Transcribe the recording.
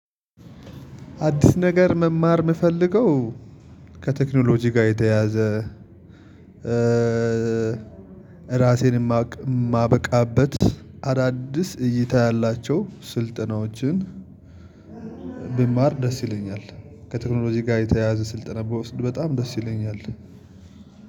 አዲስ ነገር መማር የምፈልገው ከቴክኖሎጂ ጋር የተያያዘ ራሴን የማበቃበት አዳዲስ እይታ ያላቸው ስልጠናዎችን ብማር ደስ ይለኛል። ከቴክኖሎጂ ጋር የተያያዘ ስልጠና ብወስድ በጣም ደስ ይለኛል።